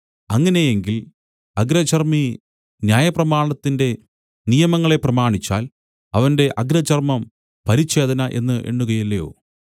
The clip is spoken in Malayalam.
അങ്ങനെയെങ്കിൽ അഗ്രചർമി ന്യായപ്രമാണത്തിന്റെ നിയമങ്ങളെ പ്രമാണിച്ചാൽ അവന്റെ അഗ്രചർമം പരിച്ഛേദന എന്നു എണ്ണുകയില്ലയോ